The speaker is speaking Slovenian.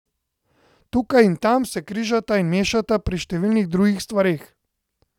Tukaj in tam se križata in mešata pri številnih drugih stvareh.